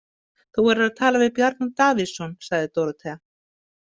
Þú verður að tala við Bjarna Davíðsson, sagði Dórótea.